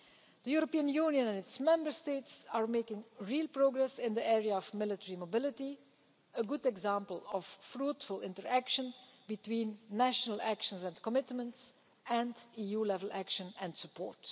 The European Union and its Member States are making real progress in the area of military mobility, a good example of fruitful interaction between national actions and commitments, and EU level action and support.